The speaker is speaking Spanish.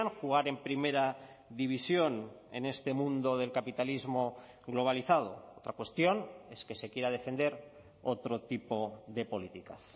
jugar en primera división en este mundo del capitalismo globalizado otra cuestión es que se quiera defender otro tipo de políticas